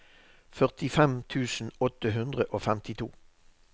førtifem tusen åtte hundre og femtito